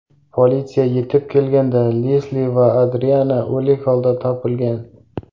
Politsiya yetib kelganida Lesli va Adriana o‘lik hoda topilgan.